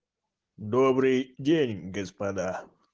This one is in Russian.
добрый день господа